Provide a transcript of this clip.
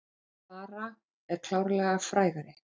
Klara er klárlega frægari.